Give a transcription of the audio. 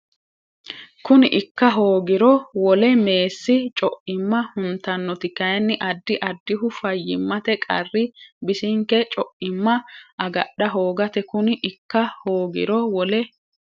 Kuni ikka hoogiro Wole meessi co imma huntannoti kayinni addi addihu fayyimmate qarri bisinke co imma agadha hoogate Kuni ikka hoogiro Wole.